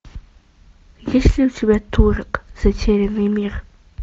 есть ли у тебя турок затерянный мир